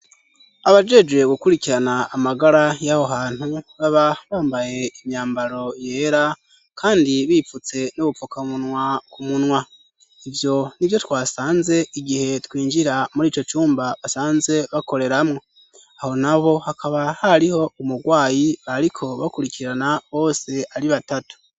Abajejwe gukurikirana amagara y'aho hantu baba bambaye imyambaro yera kandi bipfutse n'ubupfukamunwa ku munwa, ivyo nivyo twasanze igihe twinjira muri ico cumba basanzwe bakoreramwo, aho naho hakaba hariho umurwayi bariko bakurikirana bose ari batatu.